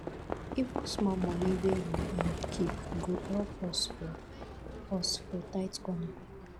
even small money wey we um keep go help us for us for tight corner